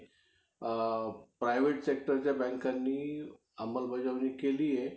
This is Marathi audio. अं सगळ्यांची घर जवळचं होती शाळेपासनं लवकर शाळा होती, त्यामुळे जाऊ देत होते. पण नंतर काय झालं माहितीये का?